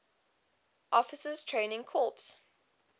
officers training corps